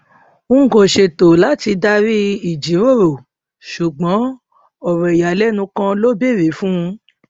n kò ṣètò láti darí ìjíròrò ṣùgbọn ọrọ ìyàlẹnu kan ló bèrè fún un